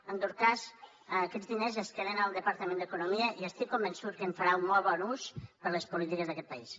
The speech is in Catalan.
en tot cas aquests diners es queden al departament d’economia i estic convençut que en farà un molt bon ús per a les polítiques d’aquest país